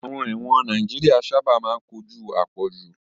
Àwọn ẹ̀wọ̀n Nàìjíríà sáábà máa ń kojú àpọ̀jù